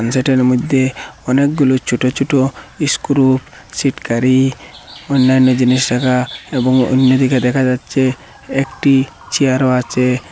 যেটার মইধ্যে অনেকগুলো ছোটো ছোটো ইস্ক্রু সিটকারী অন্যান্য জিনিস রাখা এবং অন্য দিকে দেখা যাচ্ছে একটি চেয়ারও আছে।